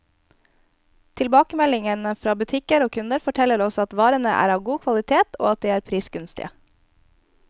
Tilbakemeldingene fra butikker og kunder, forteller oss at varene er av god kvalitet, og at de er prisgunstige.